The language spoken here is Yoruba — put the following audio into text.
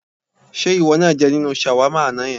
Ṣé ìwọ náà jẹ nínú ṣàwámà àná yẹn?